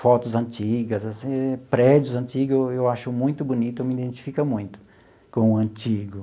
Fotos antigas assim, prédios antigos, eu eu acho muito bonito, eu me identifico muito com o antigo.